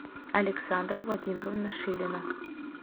александра владимировна шилина